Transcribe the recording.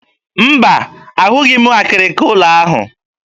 Mba, ahụghị m ụlọ akịrịka ahụ.